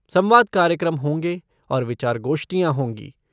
संवाद कार्यक्रम होंगे और विचार गोष्ठियाँ होंगी।